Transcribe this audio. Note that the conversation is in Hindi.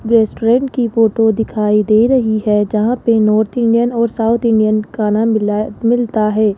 रेस्टोरेंट की फोटो दिखाई दे रही है जहां पे नॉर्थ इंडियन और साउथ इंडियन का खाना मिला मिलता है।